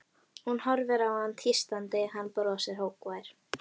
Hún horfir á hann tístandi, hann brosir, hógvær.